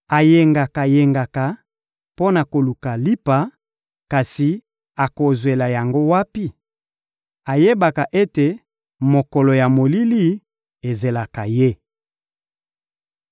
Ayengaka-yengaka mpo na koluka lipa, kasi akozwela yango wapi? Ayebaka ete mokolo ya molili ezelaka ye.